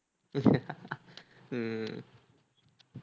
உம்